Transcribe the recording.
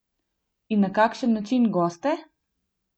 In na kakšen način goste?